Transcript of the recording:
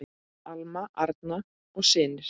Alma, Arnar og synir.